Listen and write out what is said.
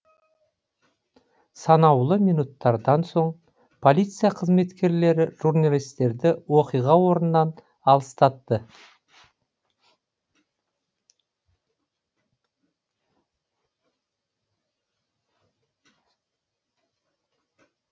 санаулы минуттардан соң полиция қызметкерлері журналистерді оқиға орнынан алыстатты